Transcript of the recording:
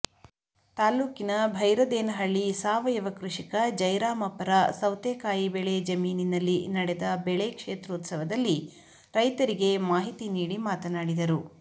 ತಾಲ್ಲೂಕಿನ ಭೈರದೇನಹಳ್ಳಿ ಸಾವಯವ ಕೃಷಿಕ ಜಯರಾಮಪ್ಪರ ಸೌತೆಕಾಯಿ ಬೆಳೆ ಜಮೀನಿನಲ್ಲಿ ನಡೆದ ಬೆಳೆ ಕ್ಷೇತ್ರೋತ್ಸವದಲ್ಲಿ ರೈತರಿಗೆ ಮಾಹಿತಿ ನೀಡಿ ಮಾತನಾಡಿದರು